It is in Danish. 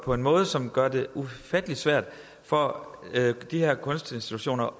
på en måde som gør det ufattelig svært for de her kunstinstitutioner